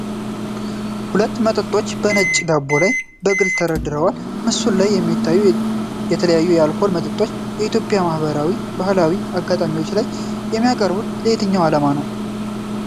ሁሉም መጠጦች በነጭ ዳራ ላይ በግልፅ ተደርድረዋል። በምስሉ ላይ የሚታዩት የተለያዩ የአልኮል መጠጦች በኢትዮጵያ ማኅበራዊና ባህላዊ አጋጣሚዎች ላይ የሚቀርቡት ለየትኛው ዓላማ ነው?